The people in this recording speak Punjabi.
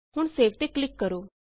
ਹੁਣ ਸੇਵ ਤੇ ਕਲਿਕ ਕਰੋ